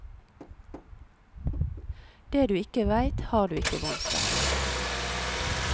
Det du ikke veit, har du ikke vondt av.